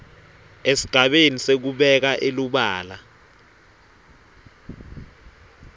esigabeni sekubeka elubala